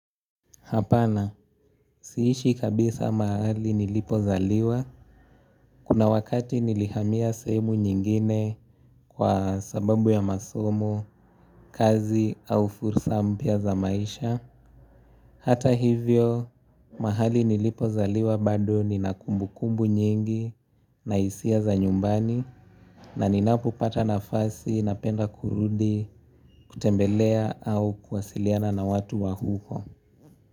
Hapana, siishi kabisa mahali nilipozaliwa. Kuna wakati nilihamia sehemu nyingine kwa sababu ya masomo, kazi au fursa mpya za maisha. Hata hivyo, mahali nilipozaliwa bado nina kumbukumbu nyingi na hisia za nyumbani na ninapopata nafasi napenda kurudi, kutembelea au kuwasiliana na watu wa huko.